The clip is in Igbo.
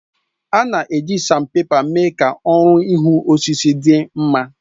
A na-eji Sanpèpa mee ka ọrụ ihu osisi dị mma